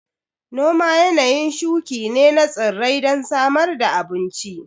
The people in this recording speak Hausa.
Noma yanayin shuƙi ne na tsirrai don samar da abun ci